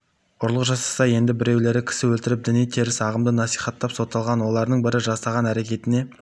ұрлық жасаса енді біреулері кісі өлтіріп діни теріс ағымды насихаттап сотталған олардың бірі жасаған әрекетіне